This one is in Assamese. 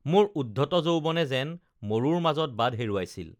মোৰ উদ্ধত যৌৱনে যেন মৰুৰ মাজত বাট হেৰুৱাইছিল